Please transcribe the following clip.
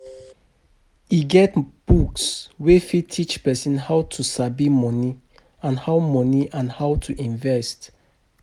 E get books wey fit teach person how to sabi money and how money and how to invest